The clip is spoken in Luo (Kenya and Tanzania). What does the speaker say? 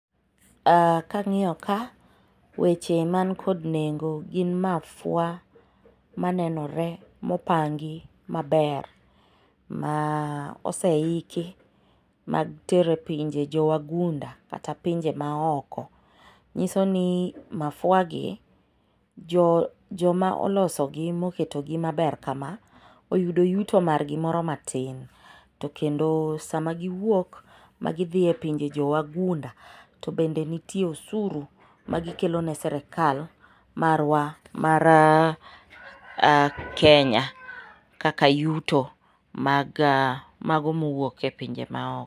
Kang'iyo ka, weche man kod nengo gin mafua, ma nenore mopangi maber ma oseiki mar tero e pinje jo wagunda kata pinje ma oko. Nyiso ni, mafuagi joma olosogi moketogi maber kama ,oyudo yuto margi moro matin to kendo sama giwuok ma gidhi e pinje jowagunda to bende nitie osuru ma gikelo ne sirkal marwa mar Kenya kaka yuto mag, mago mowuok e pinje ma oko.